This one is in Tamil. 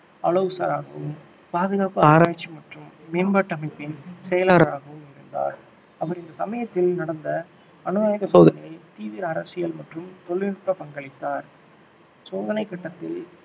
ஆலோசகராகவும், பாதுகாப்பு ஆராய்ச்சி மற்றும் மேம்பாட்டு அமைப்பின் செயலாளராகவும் இருந்தார் அவர் இந்த சமயத்தில் நடந்த அணு ஆயுத சோதனையில் தீவிர அரசியல் மற்றும் தொழில்நுட்ப பங்களித்தார் சோதனை கட்டத்தில்